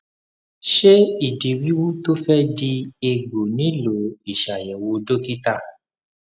ṣé ìdí wíwú tó fẹ di egbò nílò ìṣàyẹwò dókítà